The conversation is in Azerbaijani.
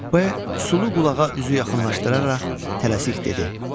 P sulu qulağa üzü yaxınlaşdıraraq tələsik dedi: